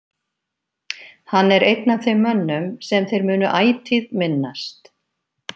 Hann er einn af þeim mönnum sem þeir munu ætíð minnast.